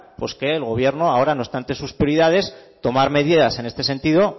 pues que en el gobierno ahora no está entre sus prioridades tomar medidas en este sentido